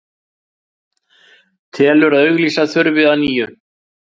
Telur að auglýsa þurfi að nýju